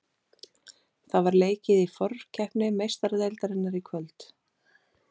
Það var leikið í forkeppni Meistaradeildarinnar í kvöld.